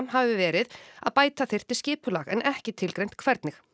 hafi verið að bæta þyrfti skipulag en ekki tilgreint hvernig